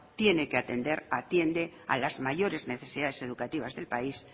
tiene que atender atiende a las mayores necesidades educativas del país